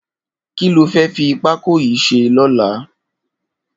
Kiló fẹ̀ fi pákó yi ṣé lọ̀lá?